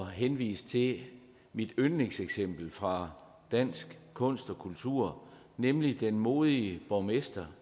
henvise til mit yndlingseksempel fra dansk kunst og kultur nemlig den modige borgmester